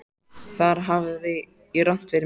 Þar hafði ég rangt fyrir mér.